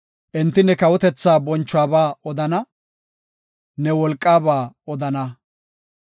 Enti ne kawotethaa bonchuwaba odana; ne wolqaaba odana.